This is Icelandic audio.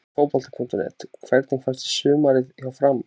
Fótbolti.net: Hvernig fannst þér sumarið hjá FRAM?